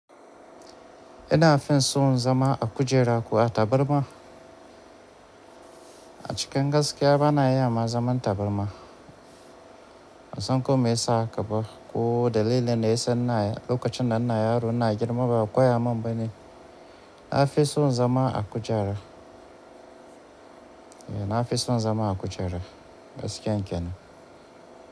Ina fin so zama a kujera ko a tabarma? A cikin gaskiya bana iya na zaman tabarma. Ban san ko me yasa haka ba ko dalilin da yasa ina lokacin da ina yaro ina girma ba a koya mun ba ne. Na fi son zama a kujera. Eh na fi son zama a kujera gaskiya kenan.